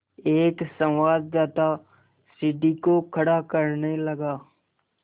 एक संवाददाता सीढ़ी को खड़ा करने लगा